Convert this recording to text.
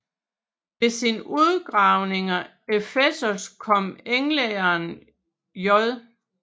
Ved sine udgravninger i Efesos kom englænderen J